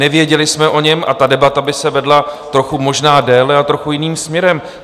Nevěděli jsme o něm a ta debata by se vedla trochu možná déle a trochu jiným směrem.